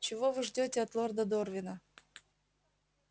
чего вы ждёте от лорда дорвина